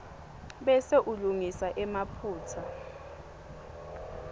bese ulungisa emaphutsa